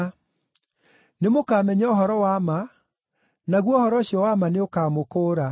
Nĩ mũkaamenya ũhoro wa ma, naguo ũhoro ũcio wa ma nĩ ũkaamũkũũra.”